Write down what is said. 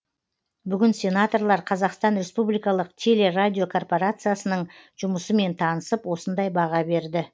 бүгін сенаторлар қазақстан республикалық телерадиокорпорациясының жұмысымен танысып осындай баға берді